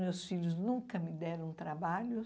Meus filhos nunca me deram trabalho.